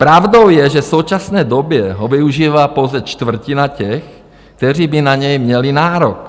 Pravdou je, že v současné době ho využívá pouze čtvrtina těch, kteří by na ně měli nárok.